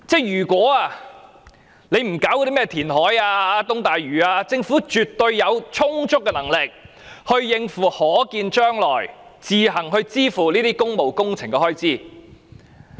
如果政府不搞甚麼填海、東大嶼都會等，絕對有充足能力自行支付可見將來的工務工程開支。